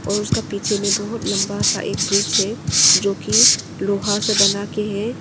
और उसका पीछे में बहुत लंबा सा एक ब्रिज हैं जो की लोहा से बना के है।